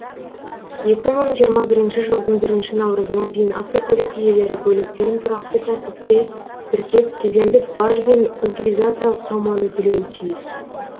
екі мың жиырма бірінші жылдың бірінші наурызына дейін автокөлік иелері көліктерін тұрақты тәртіпте тіркеп кедендік баж бен утилизациялық соманы төлеуі тиіс